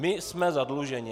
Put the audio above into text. My jsme zadluženi.